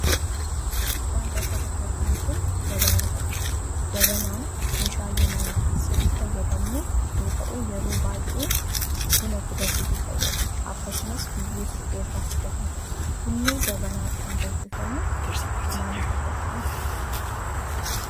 Wanti as irratti arginu kun Jabanaa jedhama. Jabanaan meeshaalee mana keessatti itti fayyadamnu yoo ta'u, yeroo baay'ee buna itti danfisuuf fayyada. Akkasumas, biyyee suphee irraa hojjetama. Bunni jabanaa dhaan danfifamu maaliif adda ta'a?